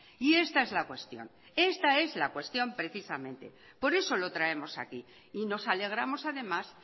y esta es la cuestión esta es la cuestión precisamente por eso lo traemos aquí y nos alegramos además